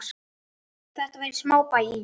Þetta var í smábæ í